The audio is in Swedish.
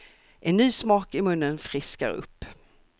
En ny smak i munnen friskar upp.